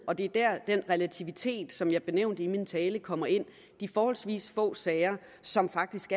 og det er der den relativitet som jeg nævnte i min tale kommer ind de forholdsvis få sager som faktisk